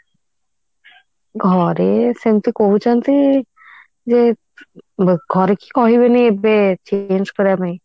ଘରେ ସେମିତି କହୁଛନ୍ତି ଯେ ଘରେ କିଏ କହିବେନି ଏବେ change କରିବା ପାଇଁ